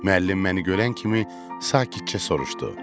Müəllim məni görən kimi sakitcə soruşdu: